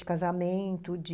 De casamento, de...